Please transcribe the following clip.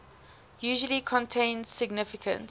usually contain significant